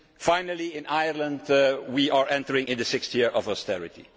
rules. Finally, in Ireland, we are entering into the sixth year of austerity.